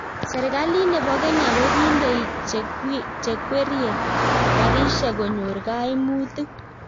serekalit nebo kenya ko kindei chekwerie karishek konyor kaimutit